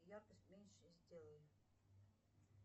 яркость меньше сделай